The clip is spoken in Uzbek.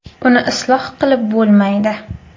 Uni isloh qilib bo‘lmaydi.